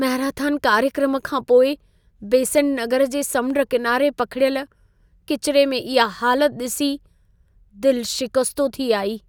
Marathon कार्यक्रम खां पोइ बेसेंट नगर जे समुंड किनारे पखिड़ियल किचिरे में इहा हालत ॾिसी दिलि शिकस्तो थी आई।